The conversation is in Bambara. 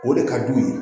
O de ka d'u ye